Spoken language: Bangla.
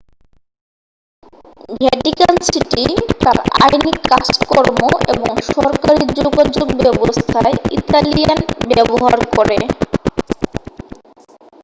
ভ্যাটিকান সিটি তার আইনি কাজকর্ম এবং সরকারী যোগাযোগ ব্যবস্থায় ইতালিয়ান ব্যবহার করে